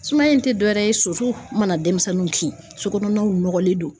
Sumaya in tɛ dɔwɛrɛ ye sosow mana denmisɛnninw ki sokɔnɔnaw nɔgɔlen don.